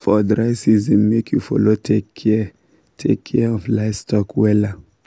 for dry season make u follow take kia take kia of livestock wella